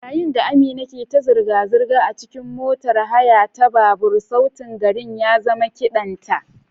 Yayin da Amina ke ta zirga-zirga a cikin motar haya ta babur, sautin garin ya zama kidan ta.